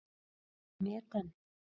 Stendur það met enn.